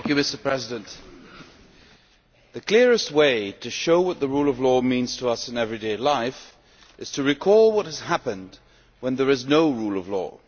Mr President, the clearest way to show what the rule of law means to us in everyday life is to recall what has happened when there is no rule of law.